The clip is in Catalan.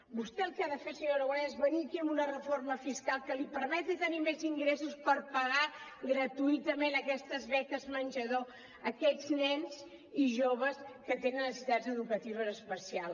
vostè el que ha de fer senyor aragonès és venir aquí amb una reforma fiscal que li permeti tenir més ingressos per pagar gratuïtament aquestes beques menjador a aquests nens i joves que tenen necessitats educatives especials